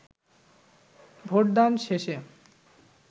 ভোটদান শেষে